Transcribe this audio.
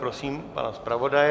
Prosím pana zpravodaje.